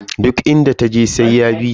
Duk inda taje sai ya bita.